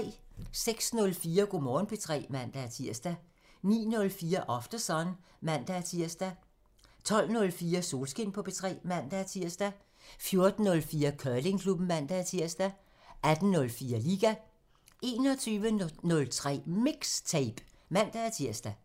06:04: Go' Morgen P3 (man-tir) 09:04: Aftersun (man-tir) 12:04: Solskin på P3 (man-tir) 14:04: Curlingklubben (man-tir) 18:04: Liga 21:03: MIXTAPE (man-tir)